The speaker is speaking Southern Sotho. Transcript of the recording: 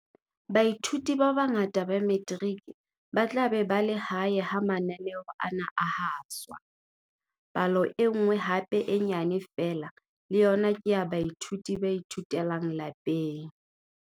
Baithuti ba bangata ba Metiriki ba tla be ba le hae ha mananeo ana a haswa. Palo e nngwe hape e nyane feela le yona ke ya baithuti ba ithutelang lapeng.